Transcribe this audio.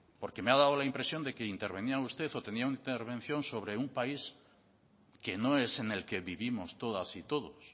porque me ha dado la impresión de que intervenía usted o tenían una intervención de un país que no es en el que vivimos todas y todos